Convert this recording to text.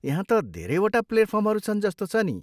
यहाँ त धेरैवटा प्लाटफर्महरू छन् जस्तो छ नि।